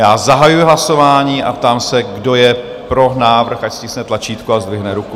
Já zahajuji hlasování a ptám se, kdo je pro návrh, ať stiskne tlačítko a zdvihne ruku.